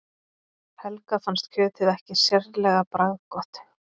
Helga fannst kjötið ekki sérlega bragðgott.